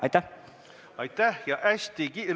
Aitäh!